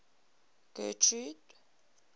getrude